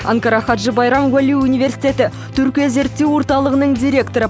анкара хаджы байрам уәли университеті түркия зерттеу орталығының директоры